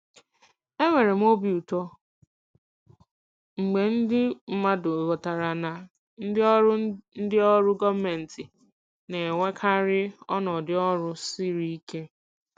Enwere m obi ụtọ mgbe ndị mmadụ ghọtara na ndị ọrụ ndị ọrụ gọọmentị na-enwekarị ọnọdụ ọrụ siri ike.